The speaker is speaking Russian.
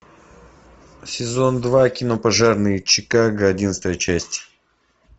сезон два кино пожарные чикаго одиннадцатая часть